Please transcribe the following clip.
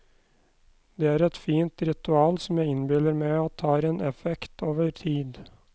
Det er et fint ritual som jeg innbiller meg at har en effekt over tid.